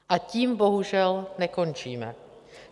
A tím bohužel nekončíme.